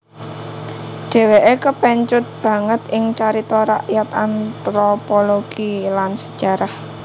Dheweke kepencut banget ing carita rakyat anthropologi lan sejarah